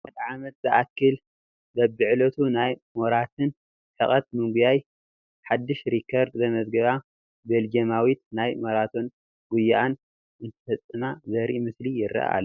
ንሓደ ዓመት ዝኣኽል በብዕለቱ ናይ ማራቶን ርሕቐት ብምጒያይ ሓዱሽ ሪከርድ ዘመዝገባ ቤልጄማዊት ናይ ማራቶን ጒይአን እንትፍፅማ ዘርኢ ምስሊ ይርአ ኣሎ፡፡